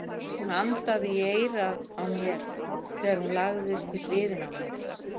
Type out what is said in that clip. Hún andaði í eyrað á mér þegar hún lagðist við hliðina á mér.